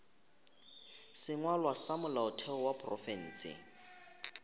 sengwalwa sa molaotheo wa profense